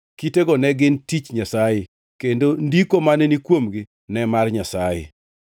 Kitego ne gin tich Nyasaye; kendo ndiko mane ni kuomgi ne mar Nyasaye.